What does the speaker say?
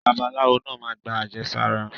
Babaláwo naa ma gba àjẹsára.